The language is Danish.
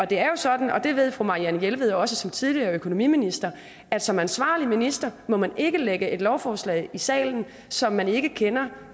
det er jo sådan og det ved fru marianne jelved også som tidligere økonomiminister at som ansvarlig minister må man ikke lægge et lovforslag i salen som man ikke kender